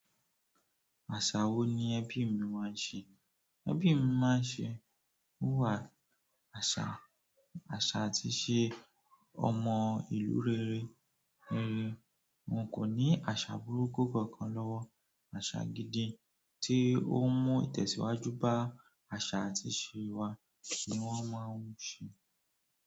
Àṣà wo ni ẹbí mi máa ń ṣe? Ẹbí máa ń ṣe, ó wà àṣà, àṣà àti ìṣe ọmọ ìlú rere, rere wọn kò ní àṣà burúkú kankan lọ́wọ́. Àṣà gidi tí ó ń mú ìtẹ̀síwájú bá àṣà àti ìṣe wa ní wọ́n máa ń ṣe.